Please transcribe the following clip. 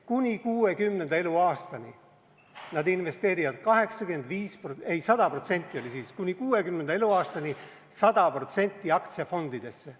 Kuni 60. eluaastani nad investeerivad 100% aktsiafondidesse.